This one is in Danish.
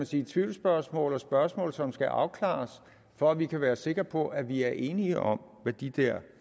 de tvivlsspørgsmål og spørgsmål som skal afklares for at vi kan være sikre på at vi er enige om hvad de der